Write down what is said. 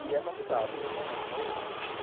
E é complicado, meu irmão mais novo, né?